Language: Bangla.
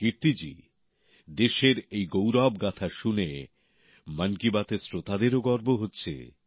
কীর্তি জি দেশের এই গৌরবগাঁথা শুনে মন কি বাতের শ্রোতাদেরও গর্ব হচ্ছে